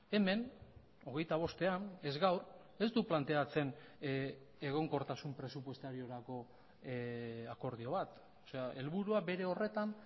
hemen hogeita bostean ez gaur ez du planteatzen egonkortasun presupuestariorako akordio bat helburua bere horretan